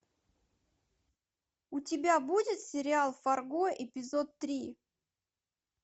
у тебя будет сериал фарго эпизод три